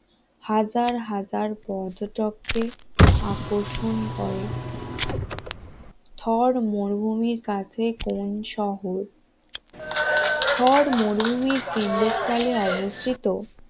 হাজার হাজার পর্যটককে আকর্ষণ করে থর মরুভূমির কাছে কোন শহর? থর মরুভূমির কেন্দ্রস্থলে অবস্থিত